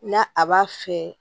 Na a b'a fɛ